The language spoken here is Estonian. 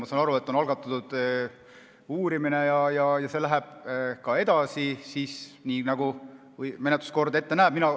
Ma saan aru, et on algatatud uurimine ja see läheb edasi, nii nagu menetluskord ette näeb.